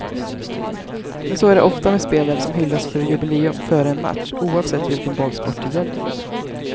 Men så är det ofta med spelare som hyllas för jubileum före en match oavsett vilken bollsport det gäller.